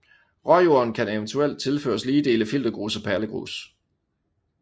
Råjorden kan eventuelt tilføres lige dele filtergrus og perlegrus